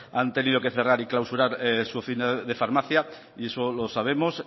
ahí han tenido que cerrar y clausurar su oficina de farmacia y eso lo sabemos